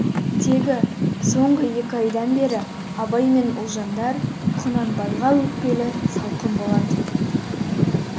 тегі соңғы екі айдан бері абай менен ұлжандар құнанбайға өкпелі салқын болатын